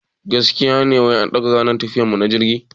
Gaskiya ne wai an daga ranar tafiyar mu na jirgi?